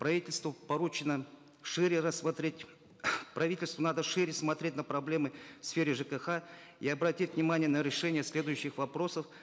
правительству поручено шире рассмотреть правительству надо шире смотреть на проблемы в сфере жкх и обратить внимание на решение следующих вопросов